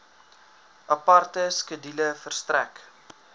aparte skedule verstrek